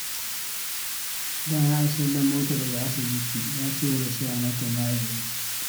Bayan an sallamota daga asibiti, ya cigaba da siya mata magani.